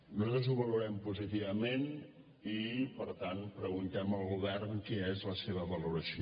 nosaltres ho valorem positivament i per tant preguntem al govern quina és la seva valoració